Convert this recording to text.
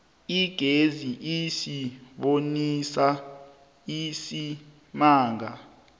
igezi isibonisa isimanga